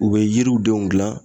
U bɛ yiriw denw dilan